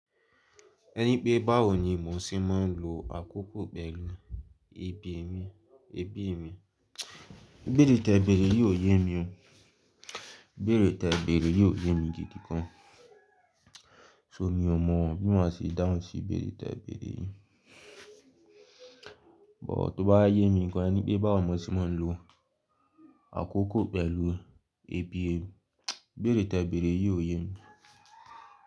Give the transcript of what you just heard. Ẹni pé báwo ni mò ń ṣe máa ń lo àkókò pẹ̀lú ẹbí mi, ẹbí mi, ibeere tẹ bere yii o yé mi o, ibeere tẹ bere yii o yé mi gidi gan So mi ò mọ̀ bí ma ṣe dáhùn sí ibeere tẹ bere yìí. Bọ̀ tó bá yé mi gan, ẹni pé báwo mo ṣe máa ń lo àkókò pẹ̀lú ẹbí ẹ. Ibeere tẹ bere yii o yé mi.